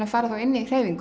að fara þá inn í hreyfingu